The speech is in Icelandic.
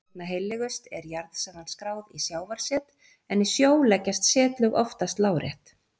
Einna heillegust er jarðsagan skráð í sjávarset en í sjó leggjast setlög oftast lárétt.